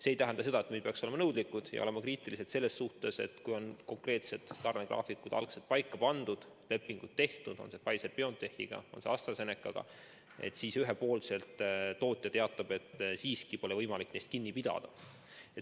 See ei tähenda seda, et me ei peaks olema nõudlikud ega tohiks olla kriitilised selle suhtes, et kui on konkreetsed tarnegraafikud paika pandud, lepingud tehtud, olgu Pfizeri-BioNTechiga, olgu Astra-Zenecaga, siis ühepoolselt tootja teatab, et siiski pole võimalik neist kinni pidada.